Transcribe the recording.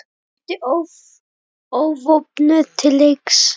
Mætti óvopnuð til leiks.